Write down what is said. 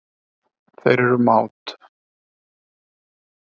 Þeir eru mát.